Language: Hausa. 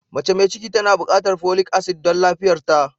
Mace mai ciki tana bukatar folic asid don lafiyarta.